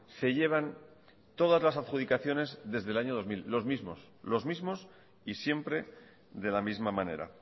se llevan todas las adjudicaciones desde el año dos mil los mismos y siempre de la misma manera